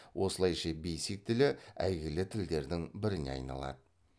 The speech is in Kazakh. осылайша бейсик тілі әйгілі тілдердің біріне айналады